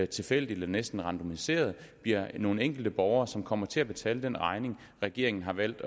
tilfældigt eller næsten randomiseret bliver nogle enkelte borger som kommer til at betale den regning regeringen har valgt